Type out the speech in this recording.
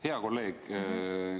Hea kolleeg!